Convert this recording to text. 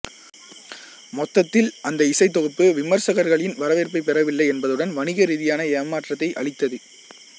மொத்தத்தில் அந்த இசைத்தொகுப்பு விமர்சகர்களின் வரவேற்பைப் பெறவில்லை என்பதுடன் வணிகரீதியாக ஏமாற்றத்தை அளித்தது